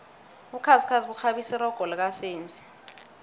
ubukhazikhazi bukghabisa irogo lika senzi